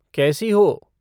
कैसी हो?